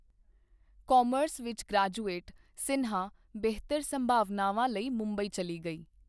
Commerce ਵਿੱਚ graduate, Sinha ਬਿਹਤਰ ਸੰਭਾਵਨਾਵਾਂ ਲਈ ਮੁੰਬਈ ਚਲੀ ਗਈ।